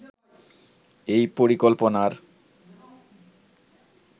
এই পরিকল্পনার